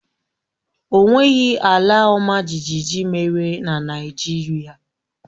O nweghị ala ọmajiji mere na Naịjirịa